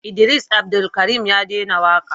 Idris Abdulkarim ya dena waka